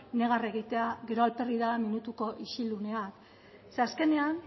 negar egitea gero alperrik da minutuko isilunea ze azkenean